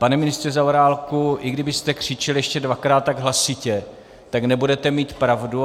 Pane ministře Zaorálku, i kdybyste křičel ještě dvakrát tak hlasitě, tak nebudete mít pravdu.